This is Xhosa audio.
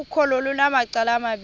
ukholo lunamacala amabini